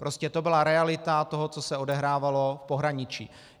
Prostě to byla realita toho, co se odehrávalo v pohraničí.